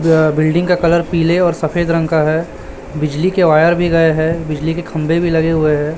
अ building का colour पीले और सफेद रंग का है। बिजली के वायर भी गए हैं बिजली के खंभे भी लगे हुए हैं।